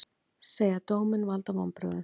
Segja dóminn valda vonbrigðum